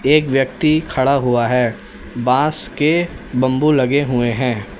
एक व्यक्ति खड़ा हुआ है बांस के बंबू लगे हुए हैं।